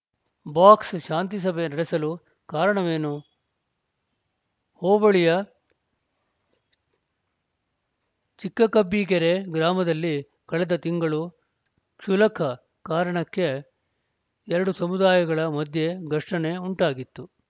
box ಶಾಂತಿಸಭೆ ನಡೆಸಲು ಕಾರಣವೇನು ಹೋಬಳಿಯ ಚಿಕ್ಕಕಬ್ಬಿಗೆರೆ ಗ್ರಾಮದಲ್ಲಿ ಕಳೆದ ತಿಂಗಳು ಕ್ಷುಲಕ ಕಾರಣಕ್ಕೆ ಎರಡು ಸಮುದಾಯಗಳ ಮಧ್ಯ ಘರ್ಷಣೆ ಉಂಟಾಗಿತ್ತು